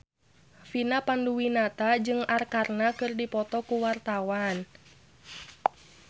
Vina Panduwinata jeung Arkarna keur dipoto ku wartawan